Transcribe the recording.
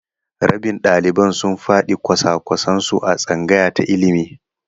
Rabin ɗaliban sun faɗi kwasa-kwasan su a tsangaya ta ilimi.